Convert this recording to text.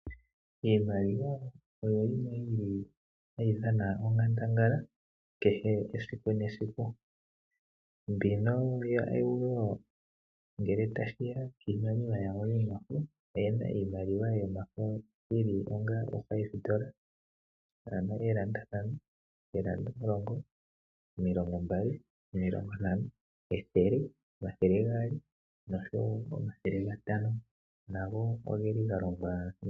Iimaliwa oyo yimwe yili hayi dhana onkandangala kehe esiku nesiku. Mbino ya euro ngele ta shiya piimaliwa yawo yomafo, oyena iimaliwa yomafo yili onga oondola ntano, eendola omulongo, omilongo mbali, omilongo ntano , ethele, omathele gaali nosho wo omathele gatano nago ogeli galongwa.